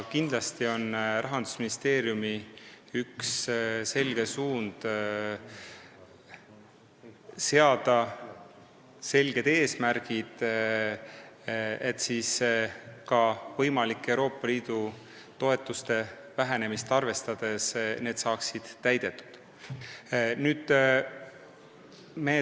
Kindlasti on Rahandusministeeriumi üks suundi seada selged eesmärgid, mis ka võimalikku Euroopa Liidu toetuste vähenemist arvestades saaksid täidetud.